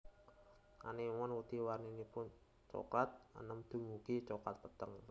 Anémon wedhi warninipun coklat enèm dumugi coklat peteng